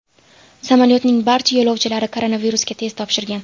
Samolyotning barcha yo‘lovchilari koronavirusga test topshirgan.